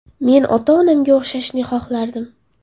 Men ota-onamga o‘xshashni xohlardim.